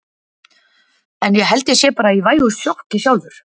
En ég held ég sé bara í vægu sjokki sjálfur.